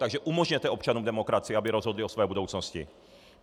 Takže umožněte občanům demokracii, aby rozhodli o své budoucnosti!